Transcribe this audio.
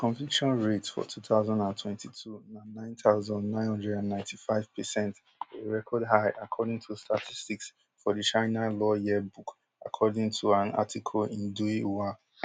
di conviction rate for two thousand and twenty-two na nine thousand, nine hundred and ninety-five percent a record high according to statistics for di china law yearbook according toan article in dui hua